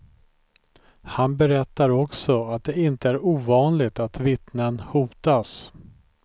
Han berättar också att det inte är ovanligt att vittnen hotas.